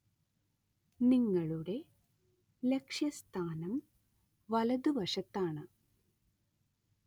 നിങ്ങളുടെ ലക്ഷ്യസ്ഥാനം വലതുവശത്താണ്.